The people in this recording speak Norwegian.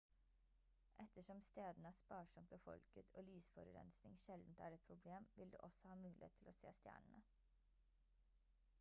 ettersom stedene er sparsomt befolket og lysforurensning sjeldent er et problem vil du også ha mulighet til å se stjernene